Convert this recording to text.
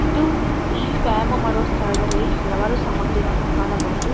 ಇದು ಈ ವ್ಯಾಯಾಮ ಮಾಡೋ ಸ್ಥಳದಲ್ಲಿ ಹಲವಾರು ಸಾಮಗ್ರಿಗಳನ್ನು ಕಾಣಬಹುದು.